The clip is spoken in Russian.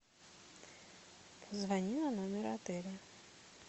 позвони на номер отеля